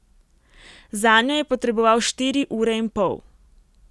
Zanjo je potreboval štiri ure in pol.